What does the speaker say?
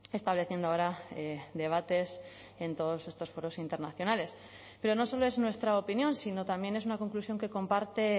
estableciendo ahora debates en todos estos foros internacionales pero no solo es nuestra opinión sino también es una conclusión que comparte